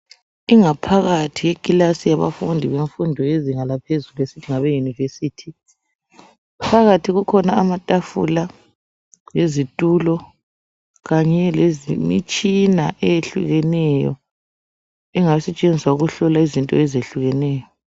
Ingaphakathi yekilasi yabafundi bemfundo yezinga laphezulu esithi ngabeYunivesi. Phakathi kukhona amatafula lezitulo kanye lemitshina eyehlukeneyo engasetshenziswa ukuhlola izinto ezehlukeneyo.